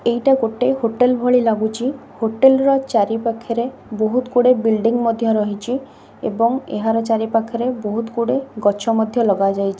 ଏଇଟା ଗୋଟେ ହୋଟେଲ୍ ଭଳି ଲାଗୁଚି ହୋଟେଲ୍ ର ଚାରି ପାଖେରେ ବହୁତ୍ ଗୁଡ଼ିଏ ବିଲଡିଂ ମଧ୍ୟ ରହିଚି ଏବଂ ଏହାର ଚାରି ପାଖରେ ବହୁତ ଗୁଡ଼ିଏ ଗଛ ମଧ୍ୟ ଲଗାଯାଇ--